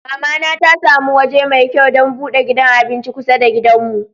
Mama na ta samu waje mai kyau dan bude gidan abinci kusa da gidan mu.